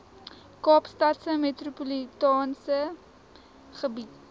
kaapstadse metropolitaanse gebied